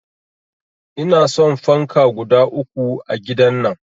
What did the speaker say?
Inason fanka guda uku a gidan nan